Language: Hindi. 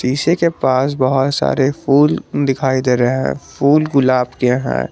शीशे के पास बहोत सारे फूल दिखाई दे रहे हैं फूल गुलाब के हैं।